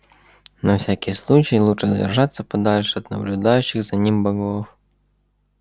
на всякий случай лучше держаться подальше от наблюдающих за ним богов